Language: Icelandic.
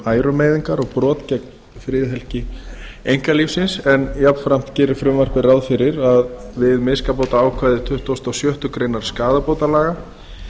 ærumeiðingar og brot gegn friðhelgi einkalífsins jafnframt gerir frumvarpið ráð fyrir að við miskabótaákvæði tuttugasta og sjöttu greinar skaðabótalaga